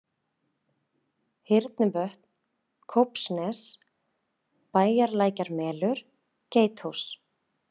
Hyrnuvötn, Kópsnes, Bæjarlækjarmelur, Geithús